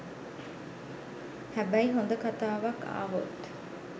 හැබැයි හොඳ කතාවක් ආවොත්